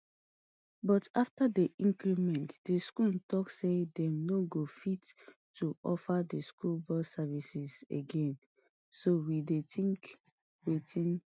but afta di increment di school tok say dem no go fit to offer di school bus services again so we dey tink wetin